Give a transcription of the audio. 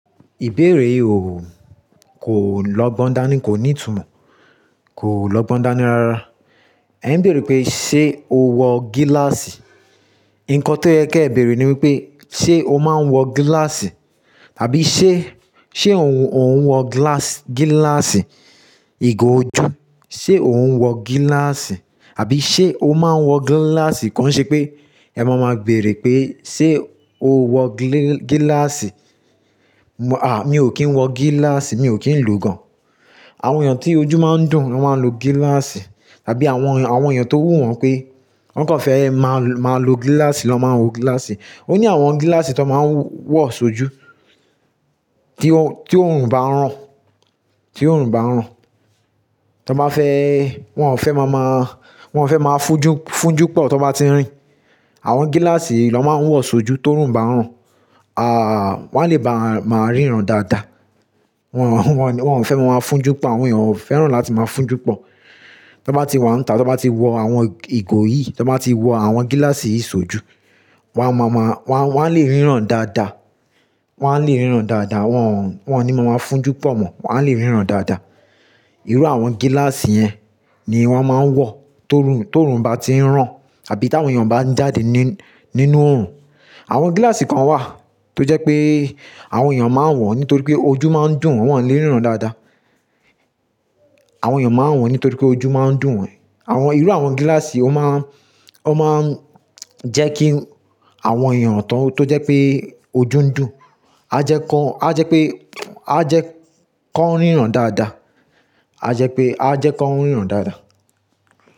Ìbéèrè yìí o, kò lọgbọ́n dání, kò ní ìtumọ̀, kò lọgbọ́n dání rara. Ẹ ń béèrè pé, "ṣé o wọ gíláàsì?" Nǹkan tó yẹ kí ẹ bèèrè ni wípé, "ṣé o máa ń wọ gíláàsì?" àbí "ṣé, ṣé òun, òun wọ gíláàsì, gíláàsì ìgò ojú?" "Ṣé òun wọ gíláàsì?" àbí "ṣé o máa ń wọ gíláàsì?" Kọ́ ń ṣe pé, ẹ má máa béèrè pé, "ṣé o wọ gílè, gíláàsì?" Mo a, mi ò kí ń wọ gíláàsì, mi ò kí ń lò gan. Àwọn èèyàn tí ojú máa ń dùn, lo máa ń lo gíláàsì. Àbí àwọn èèyàn, àwọn èèyàn tó wù wọ́n pé, wọ́n kàn fẹ́ máa lo gíláàsì lọ́ máa ń wọ gíláàsì. Ó ní àwọn gíláàsì tó máa ń wọ̀ ṣojú, tí o, tí oòrùn bá ń rán, tí oòrùn bá ń rán. Tọ bá fẹ́, wọ́n ò fẹ́ máa máa, wọ́n ò fẹ́ máa fúnjú, fúnjú pọ̀ tó bá ti n rìn. Àwọn gíláàsì yii lọ́ máa ń wọ̀ ṣojú ti orùn bá ń rán. Àà, wọ́n le bá máa ríran dáadáa. Wọn, wọ́n ò fẹ́ máa fúnjú pọ̀, àwọn èèyàn ò fẹ́ràn láti máa fúnjú pọ̀. Tọ bá ti wọ́n ń ta, tọ bá ti wọ àwọn ìgò yìí, tọ bá ti wọ àwọn gíláàsì yìí ṣojú, wọ́n má máa, wọ́n lè ríran dáadáa. Wọ́n lè ríran dáadáa, wọ́n, wọ́n ò ní máa máa fúnjú pọ̀ mọ́, wọ́n lè ríran dáadáa. Irú àwọn gíláàsì yẹn ni wọ́n máa ń wọ tó orùn, tó orùn bá ti ń rán. Àbí tí àwọn èèyàn bá ń jáde nínú, nínú oòrùn. Àwọn gíláàsì kan wà tó jẹ́ pé, àwọn èèyàn máa ń wọ̀ nítorí pé ojú máa ń dùn, wọ́n lè ríran dáadáa. Àwọn èèyàn máa ń wọ̀ nítorí pé ojú máa ń dùn wọn. Àwọn, irú àwọn gíláàsì, ó máa ń, ó máa ń jẹ́ kí àwọn èèyàn tó, tó jẹ́ pé ojú ń dùn, a jẹ́ kọ́, a jẹ́ pé, a jẹ́ kan ríran dáadáa. A jẹ́ pé, a jẹ́ kan ríran dáadáa.